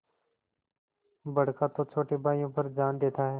बड़का तो छोटे भाइयों पर जान देता हैं